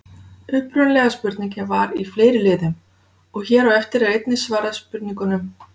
Upprunalega spurningin var í fleiri liðum og hér á eftir er einnig svarað spurningunum: